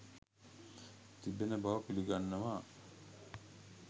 තිබෙන බව පිළිගන්නවා.